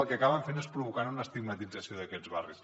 el que acaben fent és provocar una estigmatització d’aquests barris